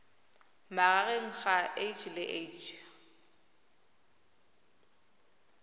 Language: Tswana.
magareng ga h le h